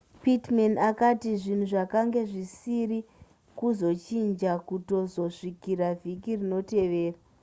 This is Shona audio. pittman akati zvinhu zvakanga zvisiri kuzochinja kutozosvikira vhiki rinotevera